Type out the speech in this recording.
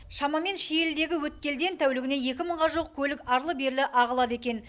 шамамен шиелідегі өткелден тәулігіне екі мыңға жуық көлік арлы берлі ағылады екен